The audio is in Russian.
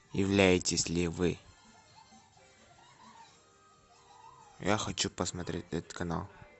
являетесь ли вы я хочу посмотреть этот канал